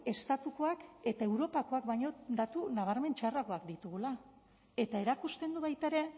estatukoak eta europakoak baino datu nabarmen txarragoak ditugula eta erakusten du baita ere